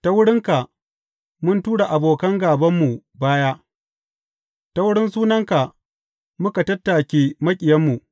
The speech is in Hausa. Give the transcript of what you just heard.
Ta wurinka mun tura abokan gābanmu baya; ta wurin sunanka muka tattake maƙiyanmu.